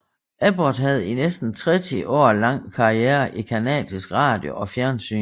Abbott havde i næsten tretti år lang karriere i canadisk radio og fjernsyn